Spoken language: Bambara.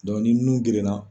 ni nun gerenna.